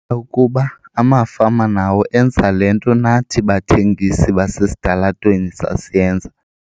ukuba amafama nawo enza le nto nathi bathengisi basesitalatweni sasiyenza.